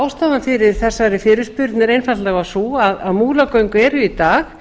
ástæðan fyrir þesari fyrirspurn er einfaldlega sú að múlagöng eru í dag